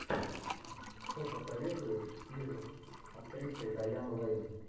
что посоветуешь из с актрисой дайан лэйн